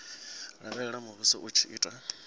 lavhelela muvhuso u tshi ita